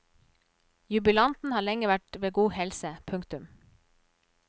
Jubilanten har lenge vært ved god helse. punktum